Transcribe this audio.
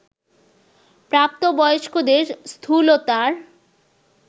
প্রাপ্তবয়স্কদের স্থূলতার